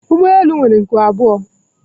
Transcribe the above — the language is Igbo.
ụgbọ elu nwere nku abụọ